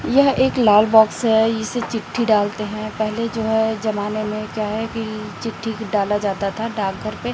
यह एक लाल बॉक्स है इस चिट्ठी डालते हैं पहले जो है जमाने में क्या है कि चिट्ठी डाला जाता था डॉक घर पे--